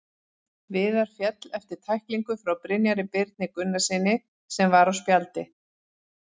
Viðar féll eftir tæklingu frá Brynjari Birni Gunnarssyni sem var á spjaldi.